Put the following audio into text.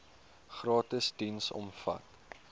gratis diens omvat